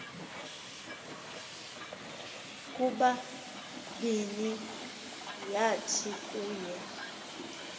kubabini yathi kuye